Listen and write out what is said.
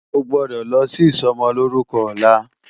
Ó gbòdò lò si isòmòlórúkò òlá